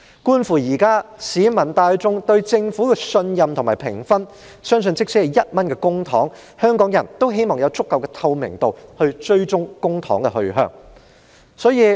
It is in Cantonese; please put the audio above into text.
觀乎現時市民大眾對政府的信任及評分，相信即使只是1元公帑，香港人也希望有足夠的透明度，以追蹤公帑的去向。